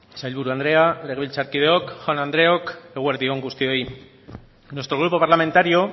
sailburu andrea legebiltzarkideok jaun andreok eguerdi on guztioi nuestro grupo parlamentario